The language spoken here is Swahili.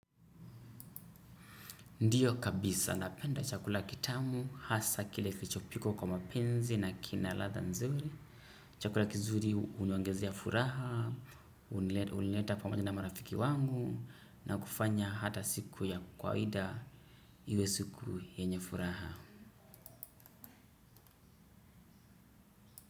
Ndiyo kabisa napenda chakula kitamu hasa kile kilichopikwa kwa mapenzi na kina ladha nzuri. Chakula kizuri huniongezea furaha, hunileta pamaja na marafiki wangu na kufanya hata siku ya kwaida iwe siku yenye furaha.